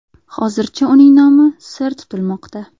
Hozircha uning nomi sir tutilmoqda.